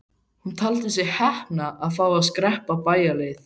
Hún taldi sig heppna að fá að skreppa bæjarleið.